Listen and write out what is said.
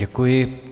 Děkuji.